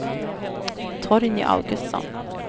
Torgny Augustsson